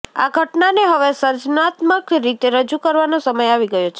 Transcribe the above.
આ ઘટનાને હવે સર્જનાત્મક રીતે રજૂ કરવાનો સમય આવી ગયો છે